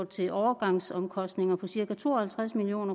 til overgangsomkostninger på cirka to og halvtreds million